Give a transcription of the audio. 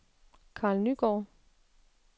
Karl Nygaard